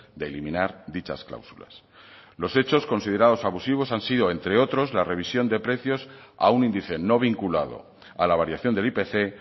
de eliminar dichas cláusulas los hechos considerados abusivos han sido entre otros la revisión de precios a un índice no vinculado a la variación del ipc